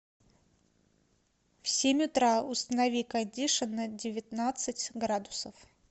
в семь утра установи кондишн на девятнадцать градусов